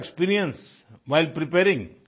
your experience while preparing